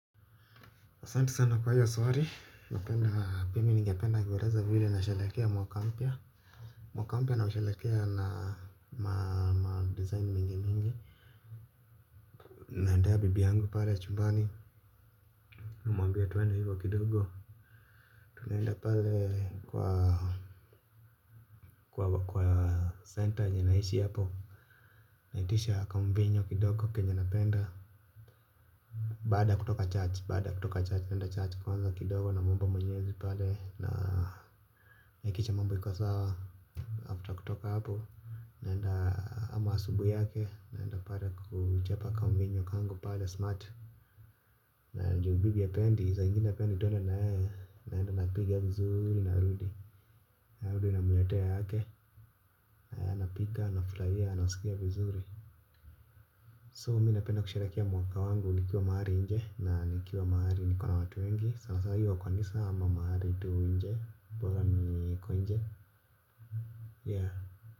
Asante sana kwa hiyo swali, napendaa mimi ningependa kueleza vile na sherehekea mwaka mpya, mwaka mpya nau sherekea na ma design mingi mingi. Naendea bibi angu pale chumbani unamwambia twenda hivyo kidogo tunaenda pale kwa kwa kwa center yenye naishi hapo. Naitisha kamvinyo kidogo kenye napenda. Baada kutoka church baada kutoka church, nenda church kwanza kidogo namuomba mwenyezi pale. Na hakikisha mambo yako sawa After kutoka hapo naenda ama asubuhi yake naenda pale kujepa kamvinyo kangu pale smart. Na juu bibi hapendi sa ingine hapendi twende na yeye naenda napiga vizurii narudi narudi natoa yake. Pika na fulahia nasikia vizuri So mi napenda kusherekea mwaka wangu. Nikiwa mahari nje na nikiwa mahari. Niko na watu wengi sana sana iwe kwa nisa ama mahari tu nje. Bora niko nje Yeah.